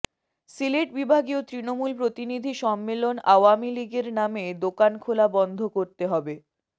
সিলেট বিভাগীয় তৃণমূল প্রতিনিধি সম্মেলন আওয়ামী লীগের নামে দোকান খোলা বন্ধ করতে হবে